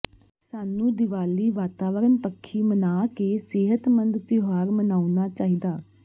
ਸਾਨੂੰ ਦੀਵਾਲੀ ਵਾਤਾਵਰਨ ਪੱਖੀ ਮਨਾ ਕੇ ਸਿਹਤਮੰਦ ਤਿਉਹਾਰ ਮਨਾਉਣਾ ਚਾਹੀਦਾ